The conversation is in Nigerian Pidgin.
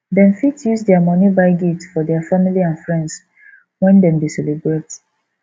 dem fit use their money buy gifts for their family and friends when dem de celebrate